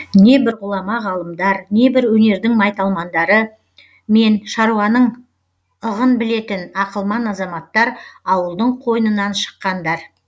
небір ғұлама ғалымдар небір өнердің майталмандары мен шаруаның ығын білетін ақылман азаматтар ауылдың қойнынан шыққандар